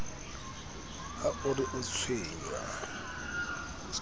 ha o re o tshwenngwa